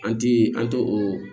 An ti an tɛ o